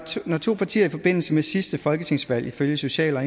når to partier i forbindelse med sidste folketingsvalg ifølge social og